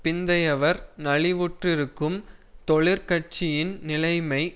பிந்தையவர் நலிவுற்றிருக்கும் தொழிற் கட்சியின் நிலைமை